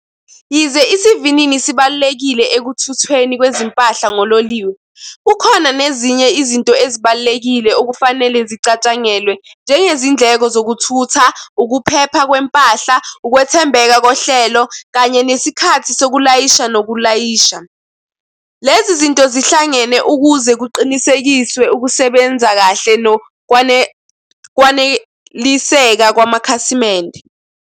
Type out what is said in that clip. Yize isivinini sibalulekile ekuthuthweni kwempahla ngololiwe, kukhona nezinye izinto ezibalulekile okufanele zicatshangelwe njengezindleko zokuthutha ukuphepha kwempahla, ukwethembeka kohlelo, kanye nesikhathi sokulayisha lo kulayisha. Lezi zinto zihlangene ukuze kuqinisekiswe ukusebenza kahle nokwaneliseka kwamakhasimende.